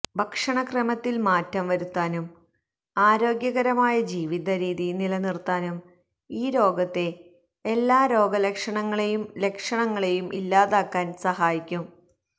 ഭക്ഷണക്രമത്തിൽ മാറ്റം വരുത്താനും ആരോഗ്യകരമായ ജീവിതരീതി നിലനിർത്താനും ഈ രോഗത്തെ എല്ലാ രോഗലക്ഷണങ്ങളെയും ലക്ഷണങ്ങളെയും ഇല്ലാതാക്കാൻ സഹായിക്കും